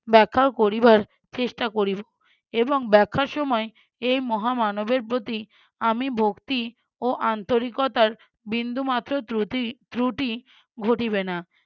ব্যাখ্যা করিবার চেষ্টা করিব এবং ব্যাখ্যার সময় এই মহা মানবের প্রতি আমি ভক্তি ও আন্তরিকতার বিন্দুমাত্র ত্রুতি~ ত্রুটি ঘটিবে না।